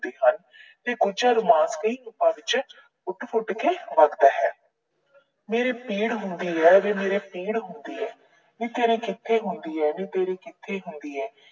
ਕਰਦੇ ਹਨ ਤੇ ਫੁੱਟ ਫੁੱਟ ਕੇ ਵਗਦਾ ਹੈ। ਮੇਰੇ ਪੀੜ ਹੁੰਦੀ ਏ, ਵੇ ਮੇਰੇ ਪੀੜ ਹੁੰਦੀ ਆ। ਨੀ ਤੇਰੇ ਕਿੱਥੇ ਹੁੰਦਾ ਆ, ਨੀ ਤੇਰੇ ਕਿੱਥੇ ਹੁੰਦਾ ਆ।